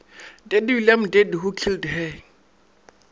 dead william deadwho killed her